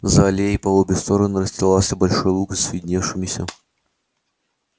за аллеей по обе стороны расстилался большой луг с видневшимися